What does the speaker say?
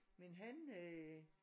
Men han øh